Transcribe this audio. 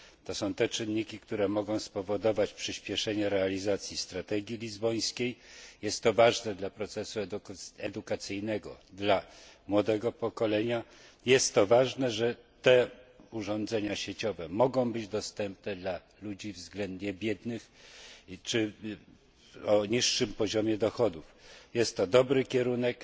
To są czynniki, które mogą spowodować przyspieszenie realizacji strategii lizbońskiej. Jest to ważne dla procesu edukacyjnego, dla młodego pokolenia. Ważne jest, że urządzenia sieciowe mogą być dostępne dla ludzi względnie biednych czy o niższym poziomie dochodów. Jest to dobry kierunek.